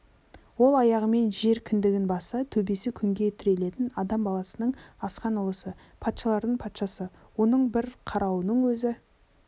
ол аяғымен жер кіндігін басса төбесі күнге тірелетін адам баласының асқан ұлысы патшалардың патшасы оның бір қарауының өзі